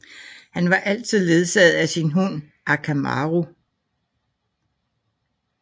Han er altid ledsaget af sin hund Akamaru